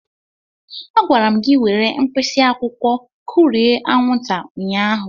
A gwara m gị were mkpịsị akwụkwọ kụrie anwụnta ụnyahụ.